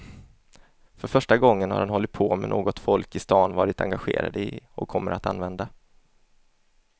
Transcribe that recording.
För första gången har han hållit på med något folk i stan varit engagerade i och kommer att använda.